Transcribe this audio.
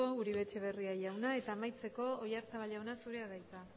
uribe etxebarria jauna eta amaitzeko oyarzabal jauna zurea da hitza